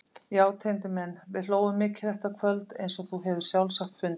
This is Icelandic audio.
Já Tengdi minn, við hlógum mikið þetta kvöld, eins og þú hefur sjálfsagt fundið.